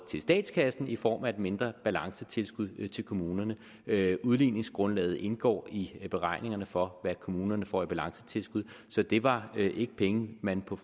i statskassen i form af et mindre balancetilskud til kommunerne udligningsgrundlaget indgår i beregningerne for hvad kommunerne får i balancetilskud så det var ikke penge man på